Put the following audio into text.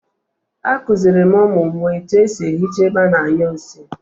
A kuziiri m umu m etu e si ehicha ebe a na-anyu nsi